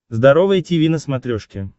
здоровое тиви на смотрешке